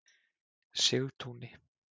Sigtúni